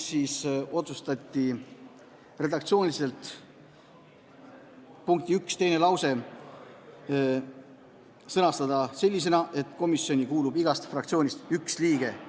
Otsustati punkti 1 teine lause sõnastada sellisena, et komisjoni kuulub igast fraktsioonist üks liige.